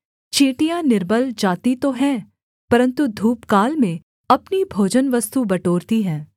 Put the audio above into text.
चींटियाँ निर्बल जाति तो हैं परन्तु धूपकाल में अपनी भोजनवस्तु बटोरती हैं